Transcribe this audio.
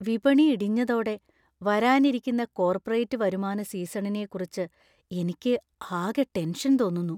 വിപണി ഇടിഞ്ഞതോടെ വരാനിരിക്കുന്ന കോർപ്പറേറ്റ് വരുമാന സീസണിനെക്കുറിച്ച് എനിക്ക് ആകെ ടെൻഷൻ തോന്നുന്നു.